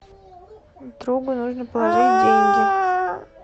другу нужно положить деньги